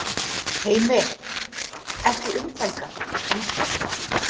Heimir: Ekki umfelgað, kannski?